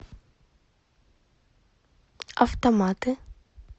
автоматы